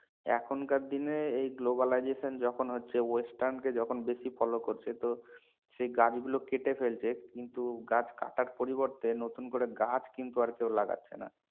এখনকার দিনে এই globalization যখন হচ্ছে western কে যখন বেশি follow করছে তো সেই গাছগুলো কেটে ফেলছে কিন্তু গাছ কাটার পরিবর্তে নতুন করে গাছ কিন্তু আর কেউ লাগাচ্ছে না।